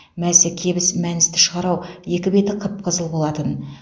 мәсі кебіс мәністі шығар ау екі беті қып қызыл болатын